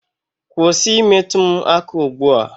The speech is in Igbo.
Kwụsị I metụ m aka ugbu a!